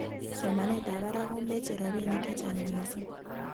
somanetab barak komeche robinik chechang mising.